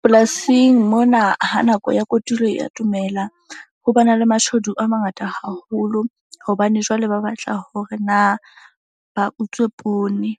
Polasing mona ha nako ya kotulo e atomela ho ba na le mashodu a mangata haholo. Hobane jwale ba batla hore na ba utswe poone